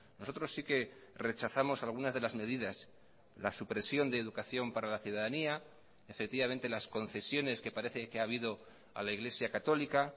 nosotros sí que rechazamos algunas de las medidas la supresión de educación para la ciudadanía efectivamente las concesiones que parece que ha habido a la iglesia católica